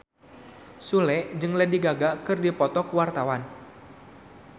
Sule jeung Lady Gaga keur dipoto ku wartawan